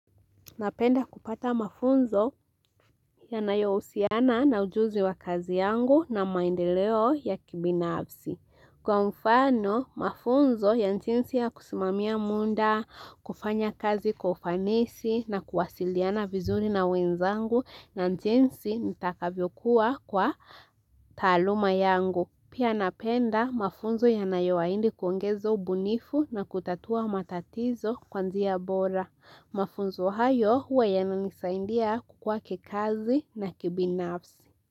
Napenda kupata mafunzo yanayo husiana na ujuzi wa kazi yangu na maendeleo ya kibinafsi. Kwa mfano, mafunzo ya jinsi ya kusimamia muda, kufanya kazi kwa ufanisi na kuwasiliana vizuri na wenzangu na jinsi nitakavyokuwa kwa taaluma yangu. Pia napenda mafunzo yanayo ahidi kuongeza ubunifu na kutatua matatizo kwa njia bora. Mafunzo hayo huwa yananisaidia kukua kikazi na kibinafsi.